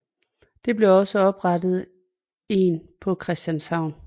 Der blev også oprettet en på Christianshavn